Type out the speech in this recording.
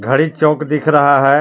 घड़ी चौक दिख रहा है.